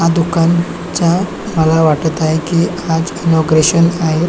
हा दुकान च्या मला वाटत आहे की आज इनोग्रेशन आहे.